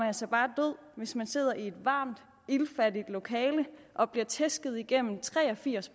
altså bare død hvis man sidder i et varmt iltfattigt lokale og bliver tæsket igennem tre og firs